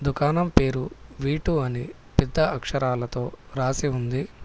దుకాణం పేరు V two అని పెద్ద అక్షరాలతో రాసి ఉంది.